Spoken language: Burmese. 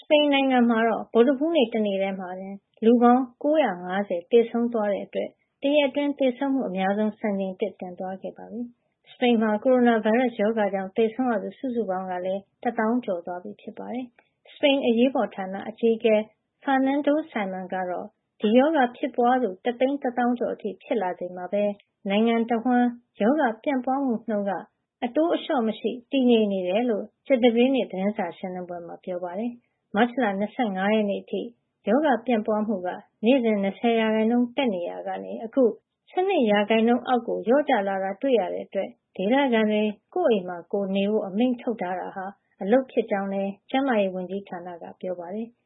ပိန်နိုင်ငံမှာ ဗုဒ္ဓဟူး နေ့ တနေ့ထဲမှာ လူပေါင်း ၉၅၀ သေဆုံးသွားတဲ့ အတွက် တရက်အတွင်း သေဆုံးမှု အများဆုံး စံချိန်သစ် တင်သွား ခဲ့ပြီး စပိန်မှာ ကိုရိုနာဗိုင်းရပ်စ် ရောဂါကြောင့် သေဆုံးရသူ စုစုပေါင်း ကလည်း ၁ သောင်း ကျော်သွားပြီ ဖြစ်ပါတယ်။ စပိန် အရေးပေါ်ဌာန အကြီးအကဲ Fernando Simon ကတော့ ဒီရောဂါ ဖြစ်ပွားသူ တသိန်း တသောင်းကျော် အထိ ဖြစ်လာ ချိန်မှာပဲ နိုင်ငံတဝှမ်း ရောဂါ ပြန့်ပွားမှု နှုန်းက အတိုးအလျှော့ မရှိ တည်ငြိမ်နေတယ်လို့ ကြာသပတေးနေ့ သတင်းစာ ရှင်းလင်း ပွဲမှာ ပြောပါတယ်။ မတ်လ ၂၅ ရက် အထိ ရောဂါ ပြန့်ပွားမှုက နေ့စဉ် ၂၀% တက်နေ ရာကနေ အခု ၁၂ % အောက်ကို လျော့ကျလာကြောင်း တွေ့ရတဲ့ အတွက် ဒေသခံတွေ ကိုယ့်အိမ်မှာ ကိုယ်နေဖို့ အမိန့်ထုတ်ထားတာ အလုပ်ဖြစ်ကြောင်းလည်း ကျန်းမာရေး ဝန်ကြီးဌာန အရာရှိတွေက ပြောပါတယ်။